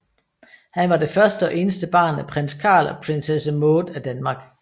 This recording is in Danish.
Han var det første og eneste barn af Prins Carl og Prinsesse Maud af Danmark